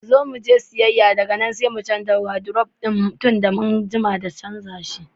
Zo muje siyayya daga nan sai mu canza wadiruf ma tunda mun jima da muka canza shi.